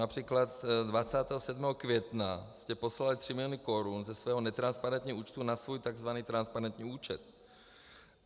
Například 27. května jste poslali tři miliony korun ze svého netransparentního účtu na svůj tzv. transparentní účet.